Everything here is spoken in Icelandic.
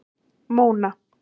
Móna